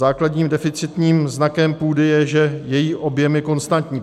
Základním deficitním znakem půdy je, že její objem je konstantní.